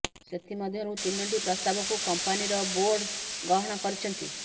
ସେଥି ମଧ୍ୟରୁ ତିନିଟି ପ୍ରସ୍ତାବକୁ କମ୍ପାନୀ ର ବୋର୍ଡ ଗ୍ରହଣ କରିଛନ୍ତି